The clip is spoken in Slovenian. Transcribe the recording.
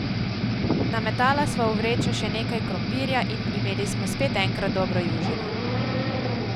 Nametala sva v vrečo še nekaj krompirja, in imeli smo spet enkrat dobro južino!